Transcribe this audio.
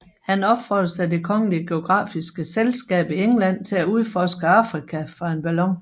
Han opfordres af Det kongelige geografiske Selskab i England til at udforske Afrika fra en ballon